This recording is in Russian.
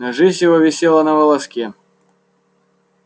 но жизнь его висела на волоске